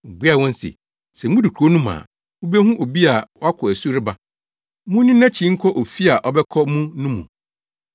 Obuaa wɔn se, “Sɛ mudu kurow no mu a, mubehu obi a wakɔ asu reba. Munni nʼakyi nkɔ ofi a ɔbɛkɔ mu no mu,